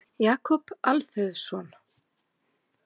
Jakob Alfeusson.